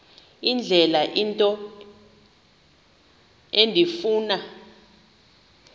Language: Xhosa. indlela into endifuna